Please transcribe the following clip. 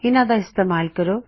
ਇਹਨਾ ਦਾ ਇਸਤੇਮਾਲ ਕਰੋ